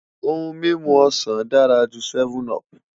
Ohun mimu osan dara ju 7up